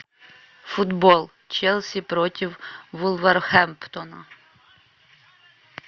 футбол челси против вулверхэмптона